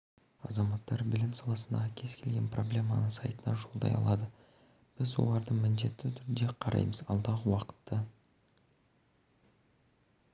азаматтар білім саласындағы кез келген проблеманы сайтына жолдай алады біз оларды міндетті түрде қараймыз алдағы уақытта